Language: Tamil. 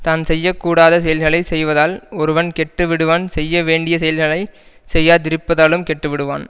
தான் செய்ய கூடாத செயல்களை செய்வதால் ஒருவன் கெட்டுவிடுவான் செய்ய வேண்டிய செயல்களை செய்யாதிருப்பதாலும் கெட்டுவிடுவான்